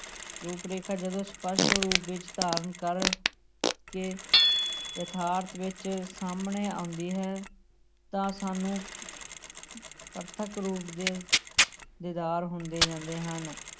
ਰੂੂਪ ਰੇਖਾ ਜਦੋਂ ਸਪਸ਼ਟ ਰੂਪ ਵਿੱਚ ਧਾਰਨ ਕਰ ਕੇ ਯਥਾਰਥ ਵਿੱਚ ਸਾਹਮਣੇ ਆਉਂਦੀ ਹੈ ਤਾਂ ਸਾਨੂੰ ਪ੍ਰਥਕ ਰੂਪ ਦੇ ਦੀਦਾਰ ਹੁੰਦੇ ਜਾਂਦੇ ਹਨ।